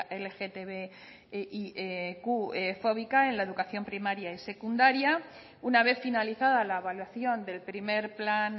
lgtbiqfóbica en la educación primaria y secundaria una vez finalizada la evaluación del primero plan